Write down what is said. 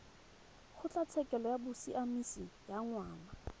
kgotlatshekelo ya bosiamisi ya ngwana